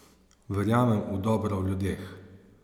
Verjamem v dobro v ljudeh.